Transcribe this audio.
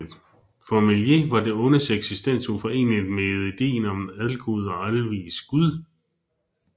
For Meslier var det ondes eksistens uforeneligt med ideen om en algod og alvis gud